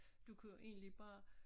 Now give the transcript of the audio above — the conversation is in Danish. Du kan jo egentlig bare